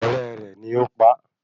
Ọ̀rẹ́ rẹ̀ ni ó pa á